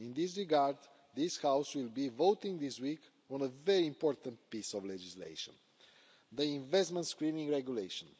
In this regard, this House will be voting this week on a very important piece of legislation the Investment Screening Regulation.